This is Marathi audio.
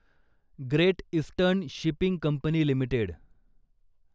great Eastern Shipping Company limited